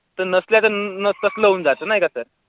तर नसल्याचं न तसलं होऊन जातं नाही का sir